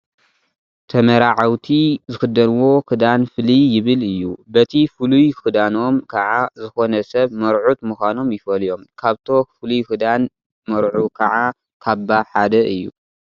ተመራዓውቲ ዝኽደንዎ ክዳን ፍልይ ይብል እዩ፡፡ በቲ ፍሉይ ክዳኖም ከዓ ዝኾነ ሰብ መርዑት ምዃኖም ይፈልዮም፡፡ ካብቶ ፍሉይ ክዳን መርዑ ከዓ ካባ ሓደ እዩ፡፡